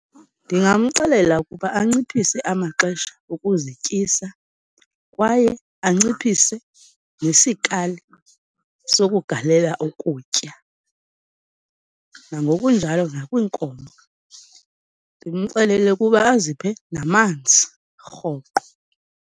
Ndingamxelela ukuba anciphise amaxesha okuzityisa, kwaye anciphise nesikali sokugalela ukutya, nangokunjalo nakwiinkomo. Ndimxelele ukuba aziphe namanzi rhoqo.